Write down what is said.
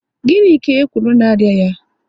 Gịnị ka e kwuru na arịa ya?